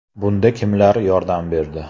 Bunda kimlar yordam berdi?